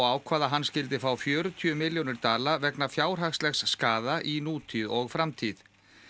ákvað að hann skyldi fá fjörutíu milljónir dala vegna fjárhagslegs skaða í nútíð og framtíð